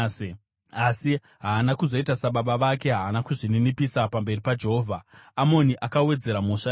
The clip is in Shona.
Asi haana kuzoita sababa vake, haana kuzvininipisa pamberi paJehovha. Amoni akawedzera mhosva yake.